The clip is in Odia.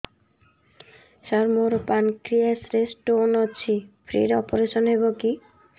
ସାର ମୋର ପାନକ୍ରିଆସ ରେ ସ୍ଟୋନ ଅଛି ଫ୍ରି ରେ ଅପେରସନ ହେବ କି